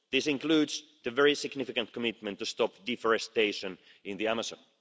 This includes the very significant commitment to stop deforestation in the Amazon.